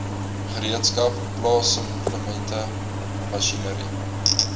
gereedskap plaasimplemente masjinerie